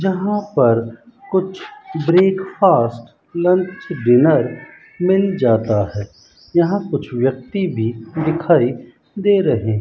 जहां पर कुछ ब्रेकफास्ट लंच डिनर मिल जाता है यहां कुछ व्यक्ति भी दिखाई दे रहे--